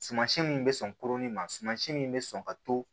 Suman si min bɛ sɔn koronin ma sumansi min bɛ sɔn ka to